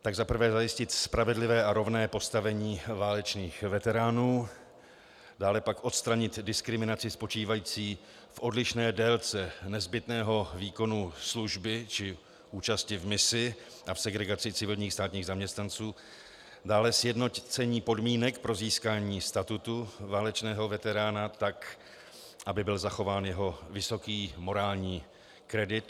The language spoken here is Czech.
Za prvé zajistit spravedlivé a rovné postavení válečných veteránů, dále pak odstranit diskriminaci spočívající v odlišné délce nezbytného výkonu služby či účasti v misi a v segregaci civilních státních zaměstnanců, dále sjednocení podmínek pro získání statutu válečného veterána tak, aby byl zachován jeho vysoký morální kredit.